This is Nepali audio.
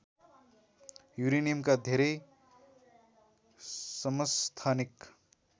युरेनियमका धेरै समस्थानिक